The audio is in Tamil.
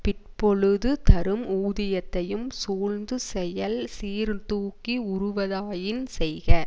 பிற்பொழுது தரும் ஊதியத்தையும் சூழ்ந்து செயல் சீர் தூக்கி உறுவதாயின் செய்க